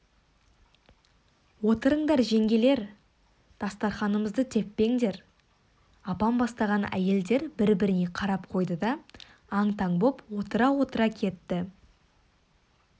отырыңдар жеңгелер дастарқанымызды теппеңдер апам бастаған әйелдер бір-біріне қарап қойды да аң-таң боп отыра-отыра кетті